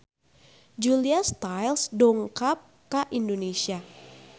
Julia Stiles dongkap ka Indonesia